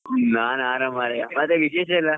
ನಾನ್ ಆರಾಮ್ ಮಾರಾಯ ಮತ್ತೆ ವಿಶೇಷ ಎಲ್ಲ.